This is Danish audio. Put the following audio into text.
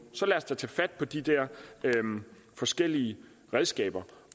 så lad os da tage fat på de der forskellige redskaber